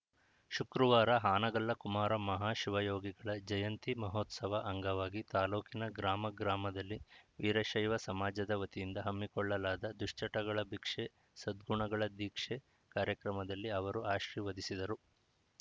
ಶುಕ್ರವಾರ ಹಾನಗಲ್ಲ ಕುಮಾರ ಮಹಾಶಿವಯೋಗಿಗಳ ಜಯಂತಿ ಮಹೋತ್ಸವ ಅಂಗವಾಗಿ ತಾಲೂಕಿನ ಗಾಮ ಗ್ರಾಮದಲ್ಲಿ ವೀರಶೈವ ಸಮಾಜದ ವತಿಯಿಂದ ಹಮ್ಮಿಕೊಳ್ಳಲಾದ ದುಶ್ಚಟಗಳ ಭಿಕ್ಷೆ ಸದ್ಗುಣಗಳ ದೀಕ್ಷೆ ಕಾರ್ಯಕ್ರಮದಲ್ಲಿ ಅವರು ಆಶೀರ್ವದಿಸಿದರು